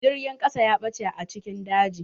Jirgin kasa ya bache a cikin daji.